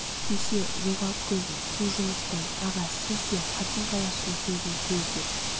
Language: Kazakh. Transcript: кеще жоғалт көзін қу жұмыстан аға сіз де қатын-қалаштың сөзін сөз деп